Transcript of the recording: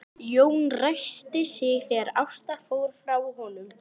Jón ræskti sig þegar Ásta fór frá honum.